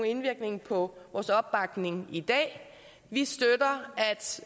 indvirkning på vores opbakning i dag vi støtter